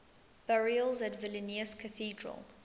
burials at vilnius cathedral